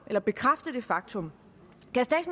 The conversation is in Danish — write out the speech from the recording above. kan bekræfte det faktum